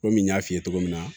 Komi n y'a f'i ye cogo min na